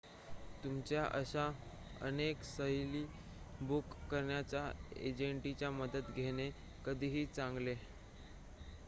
तुमच्या अशा अनेक सहली बुक करणाऱ्या एजंटची मदत घेणे कधीही चांगले